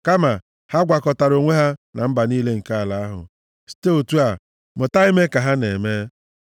Kama ha gwakọtara onwe ha na mba niile nke ala ahụ, site otu a, mụta ime ka ha na-eme.